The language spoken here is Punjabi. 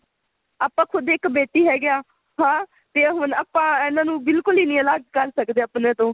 ਆਪਾ ਖੁਦ ਇੱਕ ਬੇਟੀ ਹੈਗੇਆ ਹਾਂ ਤੇ ਹੁਣ ਆਪਾ ਇਹਨਾ ਨੂੰ ਬਿਲਕੁਲ ਹੀ ਨਹੀ ਅਲੱਗ ਕਰ ਸਕਦੇ ਆਪਣੇ ਤੋ